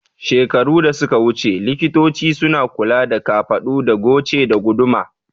Shekaru da suka wuce, likitoci suna kula da kafaɗu da goce da guduma